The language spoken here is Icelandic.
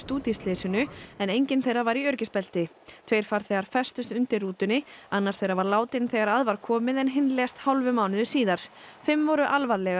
út í slysinu en enginn þeirra var í öryggisbelti tveir farþegar festust undir rútunni annar þeirra var látinn þegar að var komið en hinn lést hálfum mánuði síðar fimm voru alvarlega